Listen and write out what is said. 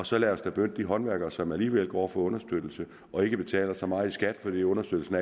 så lad os da benytte de håndværkere som alligevel går og får understøttelse og ikke betaler så meget i skat fordi understøttelsen